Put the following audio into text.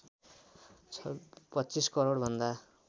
२५ करोड भन्दा